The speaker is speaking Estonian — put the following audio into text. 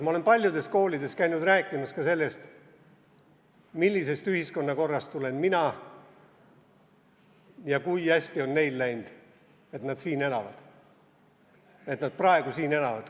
Ma olen paljudes koolides käinud rääkimas ka sellest, millisest ühiskonnakorrast tulen mina ja kui hästi on neil läinud, et nad siin elavad, et nad praegu siin elavad.